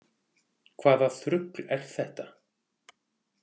Hvaða þrugl er þetta?